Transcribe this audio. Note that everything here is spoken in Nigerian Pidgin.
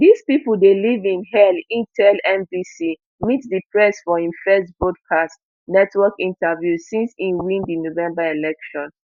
dis pipo dey live in hell e tell nbc meet the press for im first broadcast network interview since e win di november election